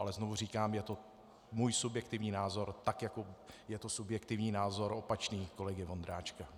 Ale znovu říkám, je to můj subjektivní názor, tak jako je to subjektivní názor opačný kolegy Vondráčka.